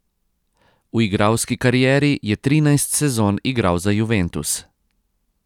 V igralski karieri je trinajst sezon igral za Juventus.